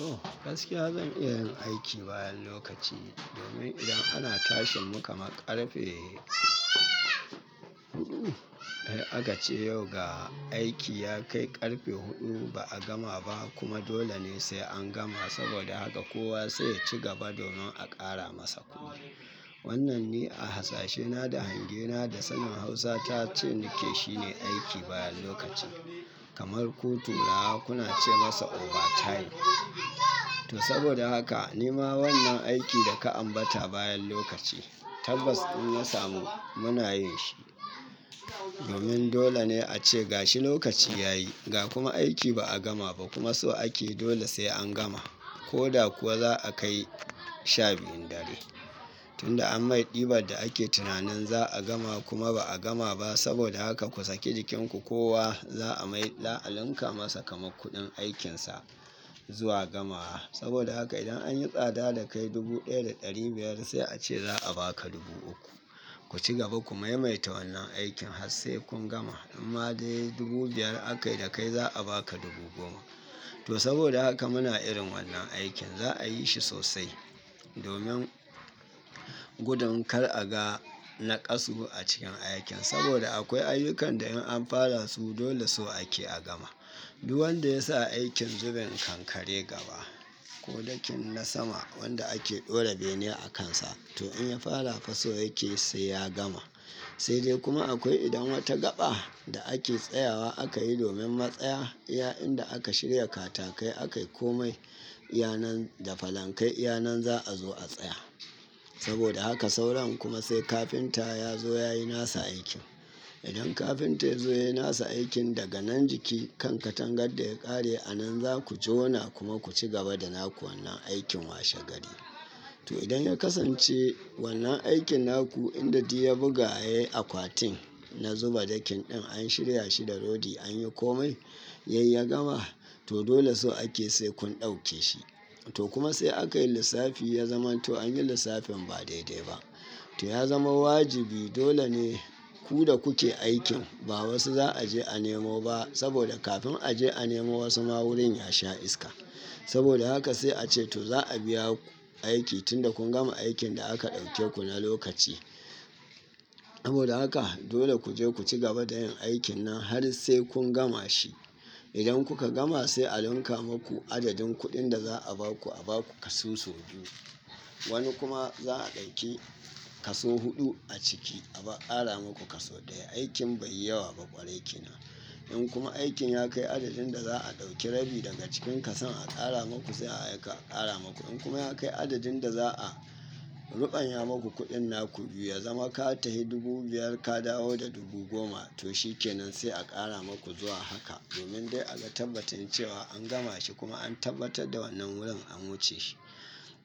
Oh gaskiya zan iya yin aiki bayan lokaci domin idan ana tashi muka maƙarfe, ai a kace yau ga aiki ya kai ƙarfe huɗu ba a gama ba kuma dole ne sai an gama saboda haka kowa sai ya ci gaba domin a ƙara masa kuɗi. Wannan ne a hasashena da hangena da sanin Hausa ta ce nike shine aiki bayan lokaci. Kamar ku turawa kuna ce masa overtime. To saboda haka ni ma wannan aiki da ka ambata bayan lokaci, tabbas in na samu muna yin shi. Domin dole ne ace gashi lokaci yayi, ga kuma aiki ba a gama ba kuma so ake dole sai an gama. Ko da kuwa za'a kai sha biyun dare tunda an mai ɗiban da ake tunanin za a gama kuma ba a gama ba saboda haka ku sake jikinku kowa za a mai la'alanka masa kamar kuɗin aikinsa zuwa gamawa. Saboda haka idan anyi tsada da kai dubu ɗaya da ɗari biyar sai a ce za a baka dubu uku. Ku cigaba ku maimaita wannan aikin har sai kun gama. Amma dai dubu biyar aka yi da kai za a baka dubu goma. To saboda haka muna irin wannan aikin za a yi shi sosai. Domin gudun kar aga na ƙasugu a cikin aikin, saboda akwai ayyukan da in an fara su dole so ake a gama. Du wanda ya sa aikin zuben kankare gaba ko dakin na sama wanda ake ɗora bene a kansa to in ya fara faso yake sai ya gama. Sai dai kuma akwai idan wata gaɓa da ake tsayawa aka yi domin matsaya, iya'inda aka shirya katakai aka yi komai, iyanan da falankai iyanan za'a zo a tsaya. Saboda haka sauran kuma sai kafinta ya zo ya yi nasa aikin. Idan kafinta ya zo ya yi nasa aikin daga nan jiki kan katangar da ya ƙare a nan za ku jona kuma ku cigaba da naku wannan aikin washe gari. To idan ya kasance wannan aikin naku inda duy ya buga akwatin na zuba dakin ɗin an shirya shi da rodi an yi komai, yai ya gama to dole so ake sai kun ɗauke shi. To kuma sai aka yi lissafi ya zama to an yi lissafin ba daidai ba. To ya zama wajibi dole ne ku da kuke aikin ba wasu za a je a nemo ba saboda kafin a je a nemo wasu ma wurin ya sha iska. Saboda haka sai a ce to za a biya ku aiki tunda kun gama aikin da aka ɗauke ku na lokaci. Saboda haka dole ku je ku cigaba da yin aikin nan har sai kun gama shi. Idan kuka gama sai a lanka maku adadin kuɗin da za a ba ku a ba ku kasusu huɗu. Wani kuma za a ɗauki kasu huɗu a ciki a ƙara maku kasu ɗaya aikin bai yi yawa ba ƙwarai kina. In kuma aikin ya kai adadin da za a ɗauki rabi daga cikin kasan a ƙara maku sai aka ƙara maku. In kuma ya kai adadin da za'a ruɓanya maku kuɗin naku biyu ya zama ka tahi dubu biyar ka dawo da dubu goma to shi kenan sai a ƙara maku zuwa haka. Domin dai a ga tabbacin cewa an gama shi kuma an tabbatar da wannan wurin an wuce shi.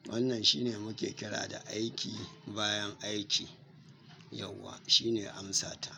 Wannan shine muke kira da aiki bayan aiki, yauwa shine amsa ta.